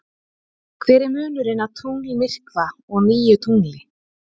Hver er munurinn á tunglmyrkva og nýju tungli?